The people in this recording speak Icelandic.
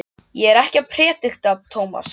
Ég er ekkert að predika, Tómas.